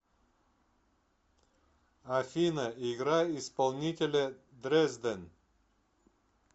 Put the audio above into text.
афина играй исполнителя дрезден